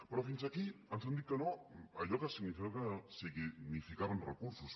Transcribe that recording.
però fins aquí ens han dit que no a allò que significaven recursos